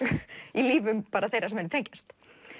í lífum þeirra sem henni tengjast